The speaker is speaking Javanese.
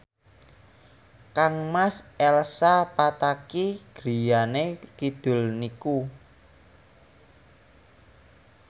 kangmas Elsa Pataky griyane kidul niku